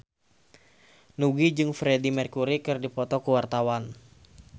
Nugie jeung Freedie Mercury keur dipoto ku wartawan